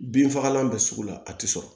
Binfagalan bɛ sugu la a tɛ sɔrɔ